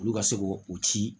Olu ka se k'o o ci